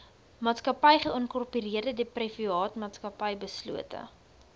maatsakappy geïnkorpereerdeprivaatmaatsappy beslote